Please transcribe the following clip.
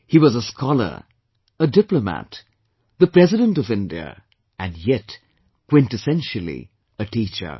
He was a scholar, a diplomat, the President of India and yet, quintessentially a teacher